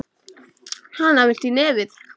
Hana, viltu í nefið?